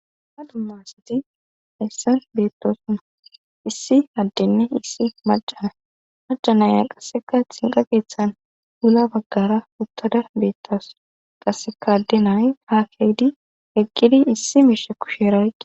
Dumma duma sati haysan beettosona issi addenne issi macana macanaya qasseka xinqa keeththan ula baggara uttada beettasu qassekaadde nayi ha keedi eqqidi issi miishe kusheera oyqi